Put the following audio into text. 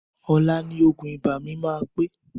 Ọ̀la ni òògùn ibà mi máa pé